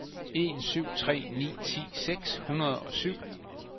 en syv tre ni ti seks hundrede og syv